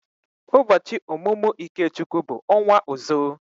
Ụbọọchi omumu Ikechukwu bu onwa ozo.